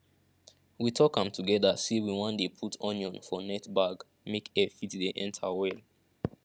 we talk am together say we wan dey put onion for net bag make air fit dey enter well